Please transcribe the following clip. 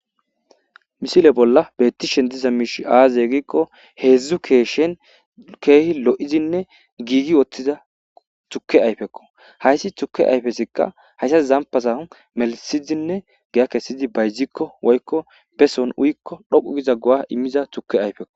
misile bolla bettishen diza miishi aaze giikko heedzdzu keeshen keehi lo7izinne giigi wottiza tukke ayfekko hayssi tuke ayfesikka hayssas zampaza melisizinne giya kessidi bayzikko woykko beson uyikko dhoqu giza guwa immiza tuke ayfekko